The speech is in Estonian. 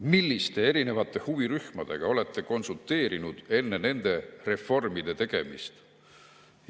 Milliste erinevate huvirühmadega ta on konsulteerinud enne nende reformide tegemist?